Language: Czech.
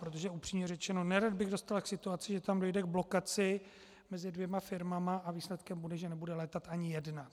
Protože upřímně řečeno, nerad bych dospěl k situaci, že tam dojde k blokaci mezi dvěma firmami a výsledkem bude, že nebude létat ani jedna.